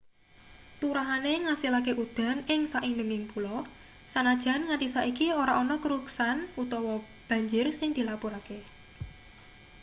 turahane ngasilake udan ing saindenging pulo sanajan nganti saiki ora ana keruksan utawa banjir sing dilapurake